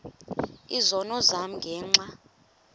izono zam ngenxa